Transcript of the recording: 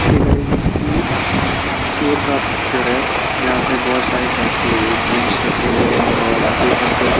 okay guys ये किसी अह स्टोर का पिक्चर है जहां पे बहोत सारी टाइप के ड्रिंक्स रखें हुए है और यहां पे एक अंकल --